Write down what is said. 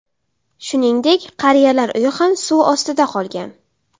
Shuningdek, qariyalar uyi ham suv ostida qolgan.